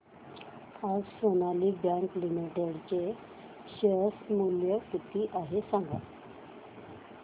आज Sonali bank limited चे share मूल्य किती आहे सांगा